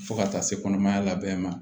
Fo ka taa se kɔnɔmaya labɛn ma